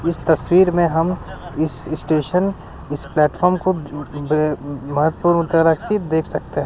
इस तस्वीर में हम इस स्टेशन इस प्लेटफार्म को ब महत्पूर्ण तरह सी देख सकते--